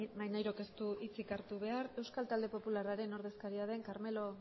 maneirok ez du hitzik hartu behar euskal talde popularraren ordezkaria den carmelo